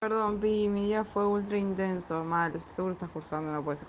когда мы имя я фаулер индианского мальцева самой работе